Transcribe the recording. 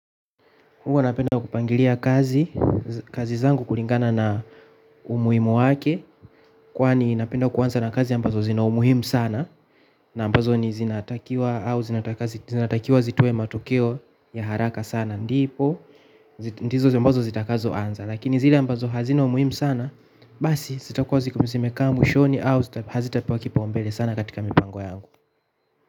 Huwa napenda kupangilia kazi, kazi zangu kulingana na umuhimu wake. Kwani napenda kuanza na kazi ambazo zina umuhimu sana na ambazo ni zinatakiwa au zinatakiwa zitowe matokeo ya haraka sana ndipo ndizo zi ambazo zitakazo anza lakini zile ambazo hazina umuhimu sana basi zitakuwa zimekaa mwishoni au hazitapewa kipaumbele sana katika mipango yangu.